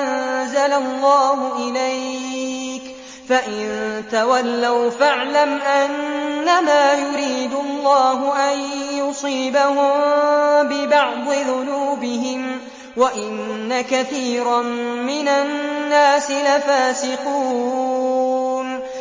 أَنزَلَ اللَّهُ إِلَيْكَ ۖ فَإِن تَوَلَّوْا فَاعْلَمْ أَنَّمَا يُرِيدُ اللَّهُ أَن يُصِيبَهُم بِبَعْضِ ذُنُوبِهِمْ ۗ وَإِنَّ كَثِيرًا مِّنَ النَّاسِ لَفَاسِقُونَ